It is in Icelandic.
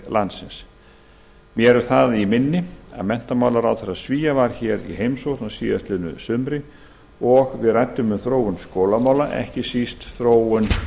landsins mér er það í minni að menntamálaráðherra svía var hér í heimsókn á síðastliðnu sumri og við ræddum um þróun skólamála ekki síst þróun